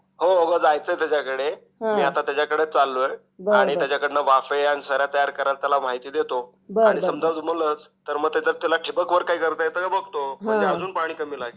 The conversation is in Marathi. हो हो जायचा आहे त्याचा कडे आता त्याच्या कडे चाललोय आणि त्यांच्याकडनं वाफं आणि तयार कारण या बदल महती देतो आणि समझ जमलंच तर त्याला ठिबक वर काही करता येत काय ते बघतो. म्हणजे अजून पाणी कमी लागेल .